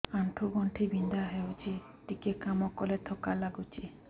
ଆଣ୍ଠୁ ଗଣ୍ଠି ବିନ୍ଧା ହେଉଛି ଟିକେ କାମ କଲେ ଥକ୍କା ଲାଗୁଚି